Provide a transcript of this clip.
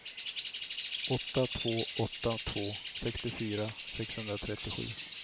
åtta två åtta två sextiofyra sexhundratrettiosju